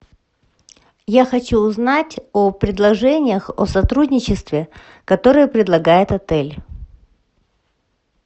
я хочу узнать о предложениях о сотрудничестве которые предлагает отель